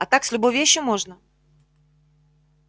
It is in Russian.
а так с любой вещью можно